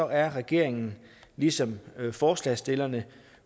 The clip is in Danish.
er regeringen ligesom forslagsstillerne